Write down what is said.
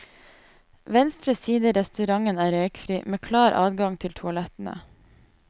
Venstre side i restauranten er røykfri, med klar adgang til toalettene.